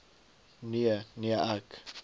nee nee ek